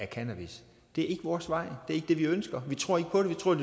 cannabis det er ikke vores vej det er ikke det vi ønsker vi tror ikke på det vi tror at